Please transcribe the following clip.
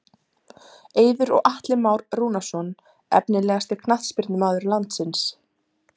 Eiður og Atli Már Rúnarsson Efnilegasti knattspyrnumaður landsins?